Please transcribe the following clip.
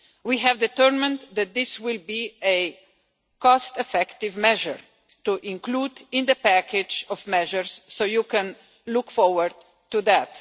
We have determined that this will be a cost-effective measure to include in the package of measures, so you can look forward to that.